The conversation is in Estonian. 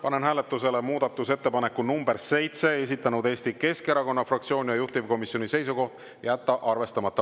Panen hääletusele muudatusettepaneku nr 7, mille on esitanud Eesti Keskerakonna fraktsioon ja juhtivkomisjoni seisukoht on jätta arvestamata.